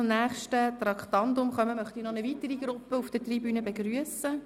Bevor wir zum nächsten Traktandum kommen, möchte ich eine weitere Gruppe auf der Tribüne begrüssen.